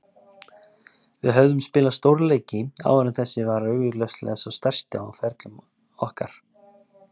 Við höfðum spilað stórleiki áður en þessi var augljóslega sá stærsti á ferlum okkar.